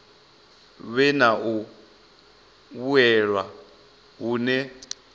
vhe na u vhuelwa hune